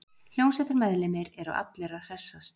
Hljómsveitarmeðlimir eru allir að hressast